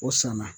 O sɔn na